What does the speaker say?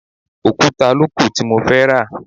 Òkúta ló kù tí mo fẹ́ rà.